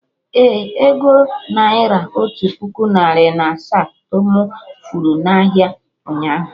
Ee, ego naira otu puku narị na asaa to mụ furu na ahịa, ụnyaahụ